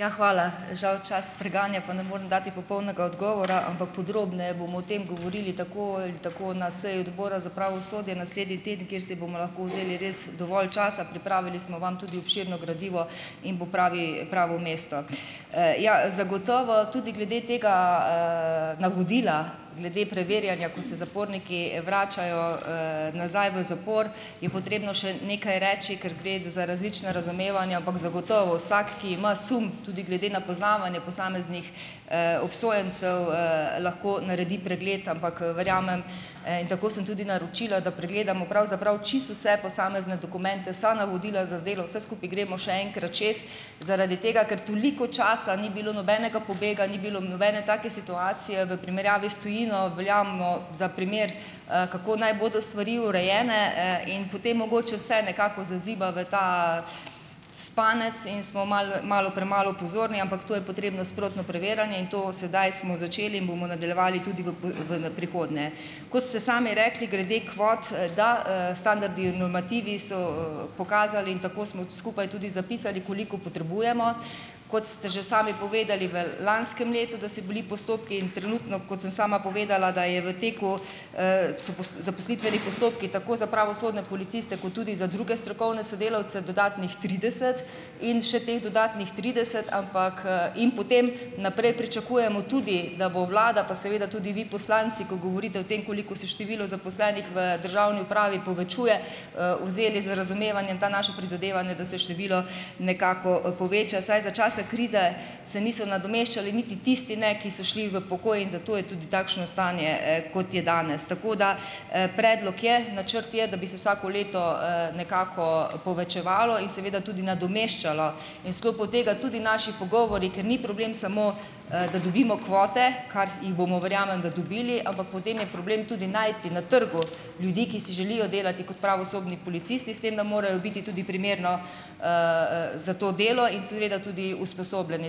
Ja, hvala. Žal čas preganja, pa ne moram dati popolnega odgovora, ampak podrobneje bomo o tem govorili tako ali tako na seji Odbora za pravosodje naslednji teden, kjer si bomo lahko vzeli res dovolj časa. Pripravili smo vam tudi obširno gradivo in bo pravi pravo mesto. Ja, zagotovo tudi glede tega, navodila glede preverjanja, ko se zaporniki vračajo, nazaj v zapor, je potrebno še nekaj reči, ker gre za različna razumevanja, ampak zagotovo vsak, ki ima sum, tudi glede na poznavanje posameznih, obsojencev, lahko naredi pregled, ampak verjamem, in tako sem tudi naročila, da pregledamo pravzaprav čisto vse posamezne dokumente, vsa navodila zazdelo, vse skupaj gremo še enkrat čez, zaradi tega, ker toliko časa ni bilo nobenega pobega, ni bilo nobene take situacije. V primerjavi s tujino veljamo za primer, kako naj bodo stvari urejene, in potem mogoče vse nekako zaziba v ta spanec in smo malo malo premalo pozorni, ampak tu je potrebno sprotno preverjanje in to sedaj smo začeli in bomo nadaljevali tudi v ven prihodnje. Kot ste sami rekli glede kvot, da, standardi, normativi so pokazali in tako smo skupaj tudi zapisali, koliko potrebujemo. Kot ste že sami povedali, v lanskem letu, da so bili postopki in trenutno, kot sem sama povedala, da so v teku zaposlitveni postopki, tako za pravosodne policiste, kot tudi za druge strokovne sodelavce, dodatnih trideset in še teh dodatnih trideset, ampak, In potem naprej pričakujemo tudi, da bo vlada, pa seveda tudi vi poslanci, ko govorite o tem, koliko se število zaposlenih v državni upravi povečuje, vzeli z razumevanjem ta naša prizadevanja, da se število nekako poveča. Saj za časa krize se niso nadomeščali niti tisti, ne, ki so šli v pokoj in zato je tudi takšno stanje, kot je danes. Tako da, predlog je, načrt je, da bi se vsako leto, nekako povečevalo in seveda tudi nadomeščalo in sklopu tega tudi naši pogovori, ker ni problem samo, da dobimo kvote, kar jih bomo, verjamem, da dobili, ampak potem je problem tudi najti na trgu ljudi, ki si želijo delati kot pravosodni policisti, s tem da morajo biti tudi primerno za to delo in seveda tudi usposobljeni.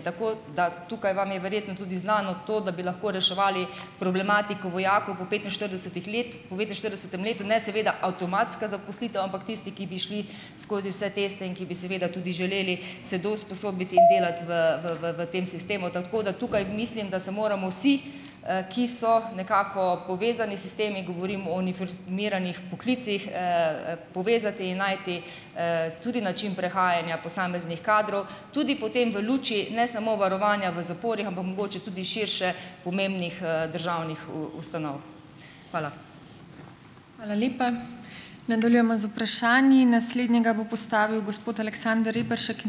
Tako da tukaj vam je verjetno tudi znano to, da bi lahko reševali problematiko vojakov po petinštiridesetih letih po devetinštiridesetem letu, ne seveda avtomatska zaposlitev, ampak tisti, ki bi šli skozi vse tiste in ki bi seveda tudi želeli se dousposobiti in delati v v v tem sistemu. Tako da tukaj mislim, da se moramo vsi, ki so nekako povezani sistemi, govorim o uniformiranih poklicih, povezati in najti tudi način prehajanja posameznih kadrov tudi potem v luči ne samo varovanja v zaporih, ampak mogoče tudi širše pomembnih, državnih v ustanov. Hvala.